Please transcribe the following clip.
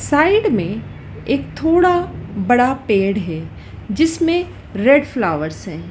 Side में एक थोड़ा बड़ा पेड़ है जिसमें रेड फ्लावर्स हैं।